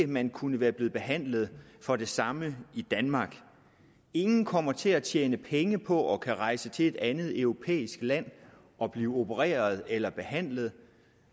man kunne være blevet behandlet for det samme i danmark ingen kommer til at tjene penge på at kunne rejse til et andet europæisk land og blive opereret eller behandlet